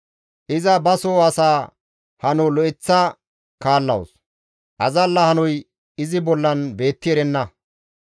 Iza ba soo asaa hano lo7eththa kaallawus; azalla hanoy izi bollan beetti erenna.